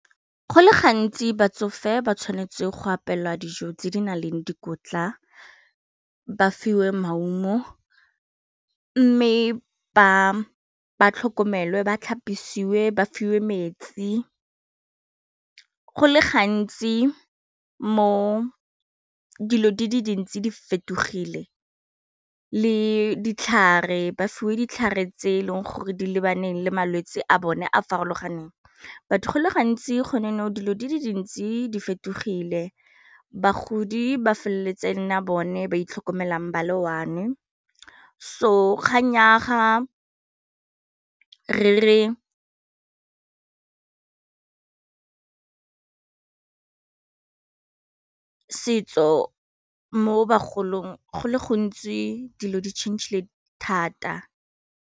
Go le gantsi batsofe ba tshwanetse go apelwa dijo tse di nang le dikotla ba fiwe maungo mme ba tlhokomele ba tlhapisiwa ba fiwe metsi go le gantsi mo dilo di le dintsi di fetogile le ditlhare ba fiwe ditlhare tse e leng gore di lebaneng le malwetse a bone a a farologaneng but go le gantsi gone nou dilo di le dintsi di fetogile bagodi ba feleletse nna bone ba itlhokomelang ba le one, so kgang ya ga re setso mo bagolong go le gontsi dilo di changile thata.